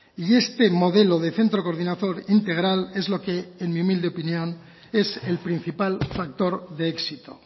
y este modelo de centro coordinador integral es lo que en mi humilde opinión es el principal factor de éxito